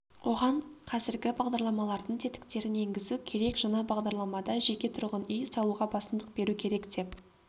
оған қазіргі бағдарламалардың тетіктерін енгізу керек жаңа бағдарламада жеке тұрғын-үй салуға басымдық беру керек деп